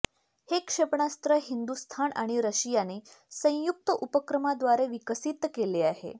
हे क्षेपणास्त्र हिंदुस्थान आणि रशियाने संयुक्त उपक्रमाद्वारे विकसीत केले आहे